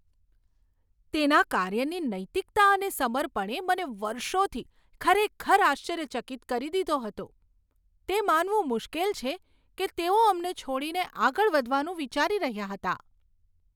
તેના કાર્યની નૈતિકતા અને સમર્પણએ મને વર્ષોથી ખરેખર આશ્ચર્યચકિત કરી દીધો હતો, તે માનવું મુશ્કેલ છે કે તેઓ અમને છોડી આગળ વધવાનું વિચારી રહ્યાં હતાં.